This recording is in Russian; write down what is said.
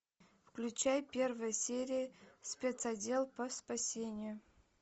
включай первая серия спецотдел по спасению